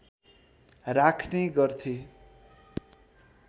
राख्ने गर्थे